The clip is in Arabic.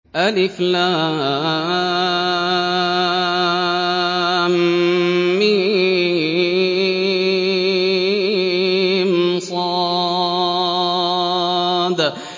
المص